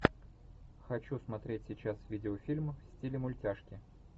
хочу смотреть сейчас видеофильм в стиле мультяшки